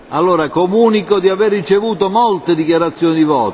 Comunico di aver ricevuto molte dichiarazioni di voto.